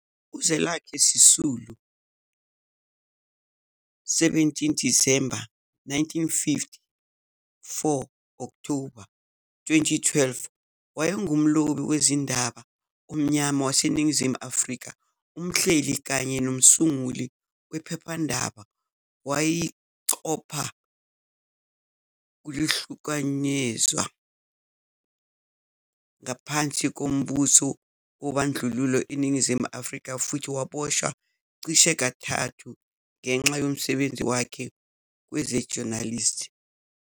UZwelakhe Sisulu, 17 Disemba 1950 - 4 Okthoba 2012, wayengumlobi wezindaba omnyama waseNingizimu Afrika, umhleli kanye nomsunguli wephephandaba. Wayeyixhoba lokuhlukunyezwa ngaphansi kombuso wobandlululo eNingizimu Afrika futhi waboshwa cishe kathathu ngenxa yomsebenzi wakhe kweze-journalism.